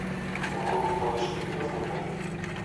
вруби малыш тв на смотрешке